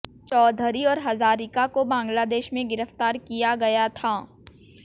चौधरी और हजारिका को बांग्लादेश में गिरफ्तार किया गया था